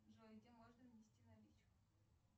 джой где можно внести наличку